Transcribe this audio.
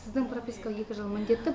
сіздің прописка екі жыл міндетті